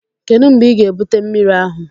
Kedu mgbe ị ga-ebute mmiri ahụ?